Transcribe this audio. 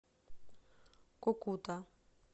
кукута